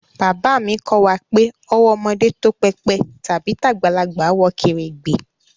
Baba mi ko wa pe owó ọmọdé tó pépè tàbí tagbalagbà wọ kèrègbè